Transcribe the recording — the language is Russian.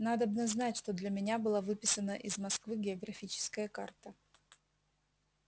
надобно знать что для меня выписана была из москвы географическая карта